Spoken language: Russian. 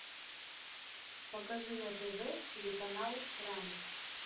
покажи на тв телеканал пранк